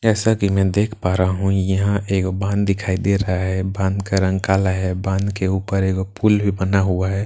जैसा की मैं देख पा रहा हूँ यहाँ एक बांध दिखाई दे रहा है बांध का रंग काला है और बांध के ऊपर एक पुल भी बना हुआ है पुल --